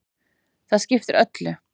Það skiptir öllu.